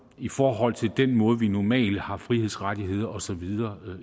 i forhold til den måde vi normalt har frihedsrettigheder og så videre